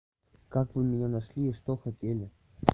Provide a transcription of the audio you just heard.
как вы меня нашли и что хотели